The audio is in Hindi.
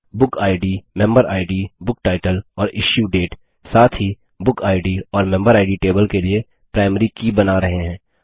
बुकिड मेम्बेरिड BookTitleऔर इश्यूडेट साथ ही बुकिड और मेम्बेरिड टेबल के लिए प्राइमरी की बना रहे हैं